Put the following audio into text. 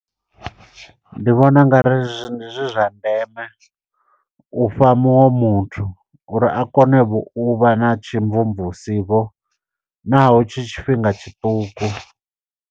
Ndi vhona ungari zwi ndi zwithu zwa ndeme ufha muṅwe muthu, uri a kone vho uvha na tshimvumvusi vho naho tshi tshifhinga tshiṱuku.